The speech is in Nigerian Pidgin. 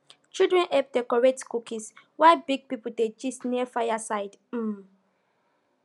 children help decorate cookies while big people dey gist near fire side um